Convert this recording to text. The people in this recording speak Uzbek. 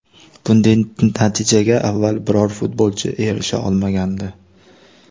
Bunday natijaga avval biror futbolchi erisha olmagandi .